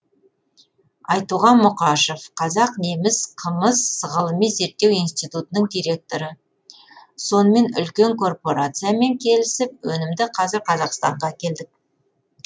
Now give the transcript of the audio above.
айтуған мұқашев қазақ неміс қымыз ғылыми зерттеу институтының директоры сонымен үлкен корпорациямен келісіп өнімді қазір қазақстанға әкелдік